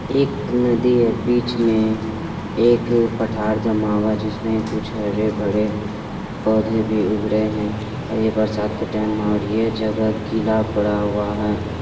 एक नदी है बीच में एक पठार जमा हुआ है जिसमे कुछ हरे भरे पौधे भी उग रहे हैं और यह बरसात का टाइम और ये जगह गीला पड़ा हुआ है।